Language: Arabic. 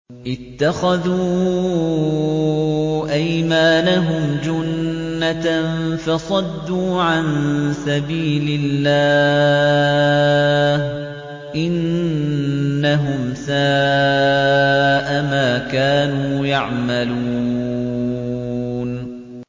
اتَّخَذُوا أَيْمَانَهُمْ جُنَّةً فَصَدُّوا عَن سَبِيلِ اللَّهِ ۚ إِنَّهُمْ سَاءَ مَا كَانُوا يَعْمَلُونَ